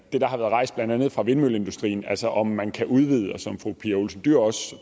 det der har været rejst blandt andet af vindmølleindustrien altså om man kan udvide og som fru pia olsen dyhr også